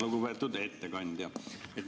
Lugupeetud ettekandja!